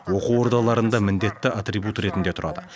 оқу ордаларында міндетті атрибут ретінде тұрады